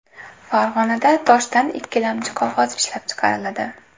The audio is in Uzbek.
Farg‘onada toshdan ikkilamchi qog‘oz ishlab chiqariladi.